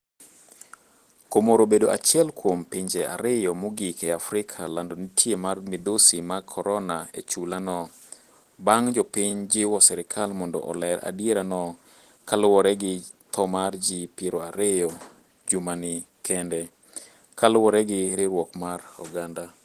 Comoro obedo achiel kuom pinje ariyo mogik e Africa lando nitie mar midhusi mag korona e chula no, bang' jopiny jiwo serkal mondi oler adierano ka luwore gi tho mar ji piero ariyo jumani kende ,kaluwore gi riwruok mar oganda.